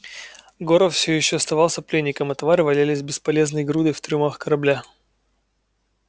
горов всё ещё оставался пленником а товары валялись бесполезной грудой в трюмах корабля